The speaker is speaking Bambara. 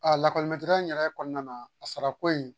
lakɔli in yɛrɛ kɔnɔna na, a sara ko in